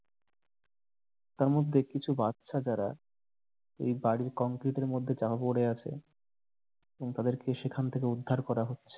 তার মধ্যে বাচ্চা যারা এই বাড়ির কংক্রিটের মধ্যে চাপা পড়ে আছে এবং তাদেরকে সেখান থেকে উদ্ধার করা হচ্ছে।